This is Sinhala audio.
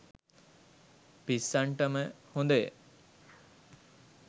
පිස්සන්ටම හොදය.